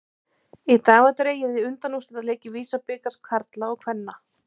Í dag var dregið í undanúrslitaleiki VISA-bikars karla og kvenna.